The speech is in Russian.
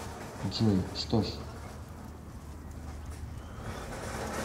джой что ж